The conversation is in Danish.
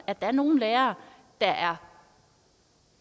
at der er nogle lærere der